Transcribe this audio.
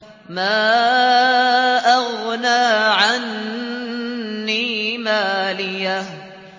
مَا أَغْنَىٰ عَنِّي مَالِيَهْ ۜ